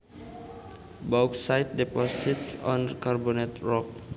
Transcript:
Bauxite deposits on carbonate rocks